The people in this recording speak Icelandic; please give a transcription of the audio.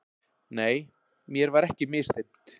Nei, mér var ekki misþyrmt.